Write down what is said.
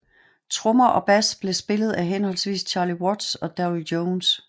Trommer og bass blev spillet af henholdsvis Charlie Watts og Darryl Jones